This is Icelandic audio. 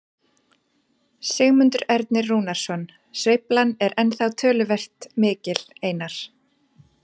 Sigmundur Ernir Rúnarsson: Sveiflan er ennþá töluvert mikil Einar?